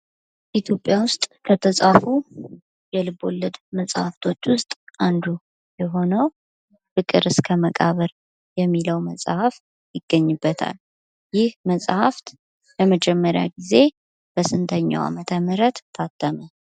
ኢትዮጵያ ውስጥ ከተፃፉ የልብ-ወለድ መፅሃፍቶች ውስጥ አንዱ የሆነው ፍቅር እስከ መቃብር የሚለው መፅሃፍ ይገኝበታል። ይህ መፅሃፍ ለመጀመሪያ ጊዜ በስንተኛው አመተምህረት ታተመ?